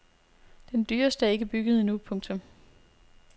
Den dyreste er ikke bygget endnu. punktum